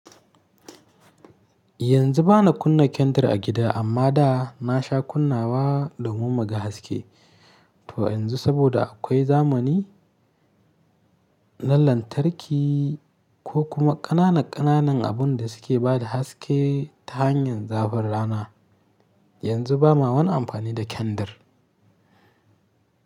Yanzu ba na kunna kendir a gida amma da na sha kunnawa domin mu ga haske. To yanzu saboda akwai zamani na lantarki ko kuma ƙananan ƙananan abun da suke bada haske ta hanyar zafin rana. Yanzu ba ma wani amfani da kandar.